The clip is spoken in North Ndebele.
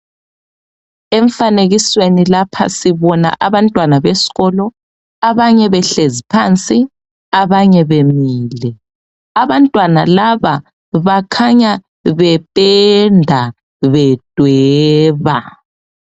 Emfanekisweni lapha sibona abantwana besikolo abanye behlezi phansi abanye bemile, abantwana laba bakhanya bependa bedweba.